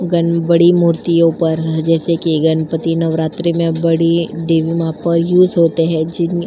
Gun बड़ी मूर्ति ऊपर जैसे कि गणपती नवरात्रि में बड़ी होते हैं। जिन --